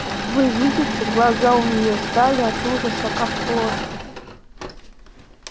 вы видите глаза у нее стали от ужаса как плошки